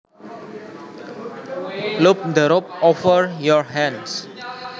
Loop the rope over your hands